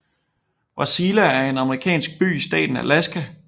Wasilla er en amerikansk by i staten Alaska